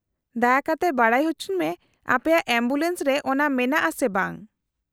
-ᱫᱟᱭᱟ ᱠᱟᱛᱮ ᱵᱟᱰᱟᱭ ᱚᱪᱚᱧ ᱢᱮ ᱟᱯᱮᱭᱟᱜ ᱮᱢᱵᱩᱞᱮᱱᱥ ᱨᱮ ᱚᱱᱟ ᱢᱮᱱᱟᱜᱼᱟ ᱥᱮ ᱵᱟᱝ ᱾